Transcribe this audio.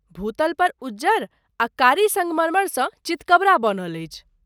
भूतल पर उज्जर आ कारी सङ्गमरमरसँ चितकबरा बनल अछि।